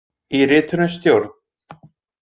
Í ritinu Stjórn.